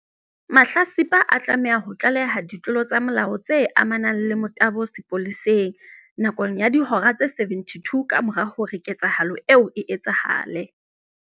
Mahlatsipa a tlameha ho tlaleha ditlolo tsa molao tse amanang le motabo sepoleseng, nakong ya dihora tse 72 kamora hore ketsahalo eo e etsahale.